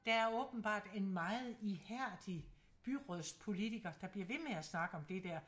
Der er åbenbart en meget ihærdig byrådspolitiker der bliver ved med at snakke om det dér